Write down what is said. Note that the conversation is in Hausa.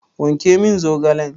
Wanke min zaogalen!